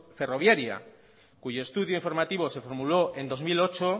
ferroviaria cuyo estudio informativo se formuló en dos mil ocho